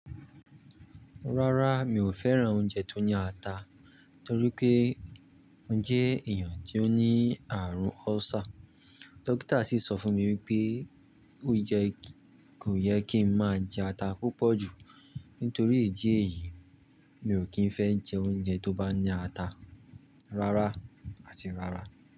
Rárá, mi ò fẹ́ran oúnjẹ tó ní ata torí pé mo jẹ́ èèyàn tó ní àrùn ulcer. Dókítà sì sọ fún mi wípé ó yẹ kò yẹ kí ń má jẹ ata púpọ̀ jù. Nítorí ìdí èyí, mi ò kí ń fẹ́ jẹ oúnjẹ tó bá ní ata rárá àti rárá.